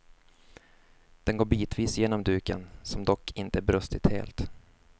Den går bitvis genom duken, som dock inte brustit helt.